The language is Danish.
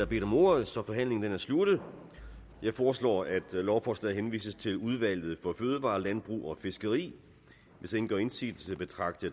bedt om ordet så forhandlingen er sluttet jeg foreslår at lovforslaget henvises til udvalget for fødevarer landbrug og fiskeri hvis ingen gør indsigelse betragter